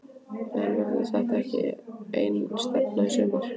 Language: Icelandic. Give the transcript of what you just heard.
En verður þetta ekki einstefna í sumar?